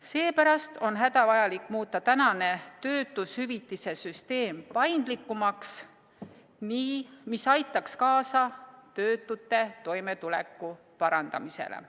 Seepärast on hädavajalik muuta tänane töötushüvitise süsteem paindlikumaks, nii et see aitaks kaasa töötute toimetuleku parandamisele.